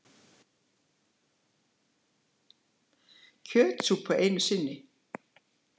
Kjötsúpa einu sinni.